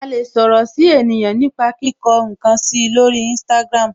A lè sọ̀rọ̀ si ènìyàn nipa kíkọ nkan si lori instagram.